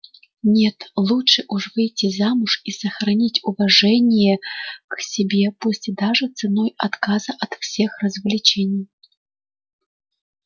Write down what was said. нет лучше уж выйти замуж и сохранить уважение к себе пусть даже ценой отказа от всех развлечений